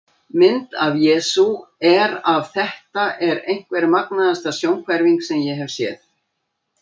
Mynd af Jesú er af Þetta er einhver magnaðasta sjónhverfing sem ég hef séð.